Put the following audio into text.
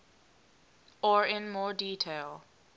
or in more detail